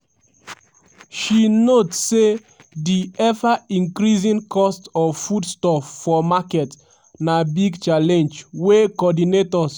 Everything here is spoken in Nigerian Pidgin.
she note say di ever increasing cost of foodstuff for market na big challenge wey coordinators